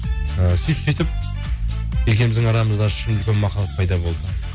і сөйтіп сөйтіп екеуіміздің арамызда шын үлкен махаббат пайда болды